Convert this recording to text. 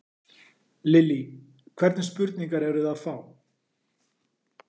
Lillý: Hvernig spurningar eruð þið að fá?